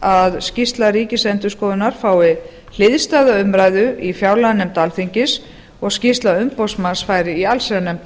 að skýrsla ríkisendurskoðunar fái hliðstæða umræðu í fjárlaganefnd alþingis og skýrsla umboðsmanns fær í allsherjarnefnd